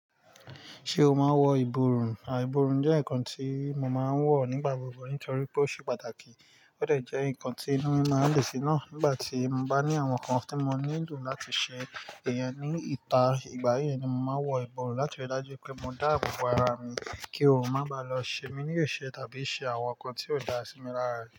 Ṣé o máa ń wọ ìbòrùn? Àì ìbòrùn jẹ́ nǹkan tí mo máa ń wọ̀ nígbà gbogbo nítorí pé ó ṣe pàtàkì. Ó dẹ̀ jẹ́ ǹkan tí inú mi máa ń dun sí ná nígbà tí mo bá ní àwọn nǹkan tí mo nílò láti ṣe. Ìyẹn ní ìta, ìgbà yẹn ni mo máa wọ ìbòrùn láti rí i dájú pé mo dá àbọ̀ ara mi, kí oòrùn má bàá lọ ṣe mí níyìṣẹ́ tàbí ṣe àwọn nǹkan tí ò dára sí mi lára rẹ̀